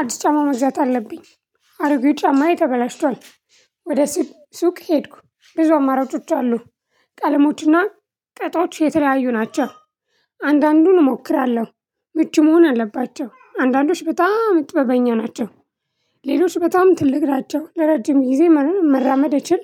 አዲስ ጫማ መዛት አለብኝ። አሮጌ ጫማዬ ተበላሽቷል። ወደ ስብ ሱቅ ሄድኩ ብዙ አማራጮች አሉ። ቀለሞችና ቅጦች የተለያዩ ናቸው። አንዳንዱን እሞክራለሁ ምቹ መሆን አለባቸው አንዳንዶች በጣም ጥበበኛ ናቸው። ሌሎች በጣም ትልቅ ናቸው ለረጅም ጊዜ መራመድ እችል።